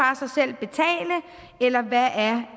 og eller hvad er